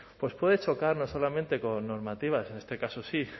pues puede chocar no solamente con normativas en este caso sí